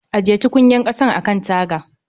Ajiye tukunyar ƙasan a kan taga